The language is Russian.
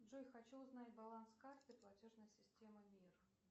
джой хочу узнать баланс карты платежной системы мир